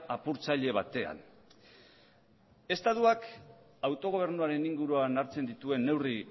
apurtzaile batean estatuak autogobernuaren inguruan hartzen dituen neurri